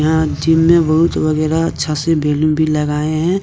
यहां जिम में बहुत वगैरा अच्छा से बैलून भी लगाए हैं।